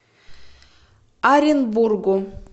оренбургу